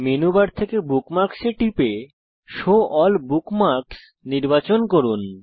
menu bar থেকে bookmarks এ টিপুন এবং শো এএলএল বুকমার্কস নির্বাচন করুন